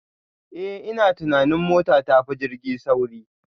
Eh ina tunanin mota tafi jirgi sauri